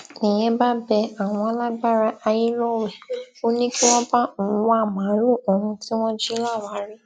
nìyẹn bá bẹ àwọn alágbára ayé lọwẹ ó ní kí wọn bá òun wá màálùú òun tí wọn jí láwàárí